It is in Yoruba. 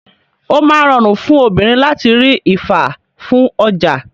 O máa ń rọrùn fún obìnrin láti rí ifá fún ọjà.